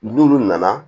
N'olu nana